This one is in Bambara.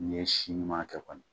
Ni ye si ɲuman kɛ kɔni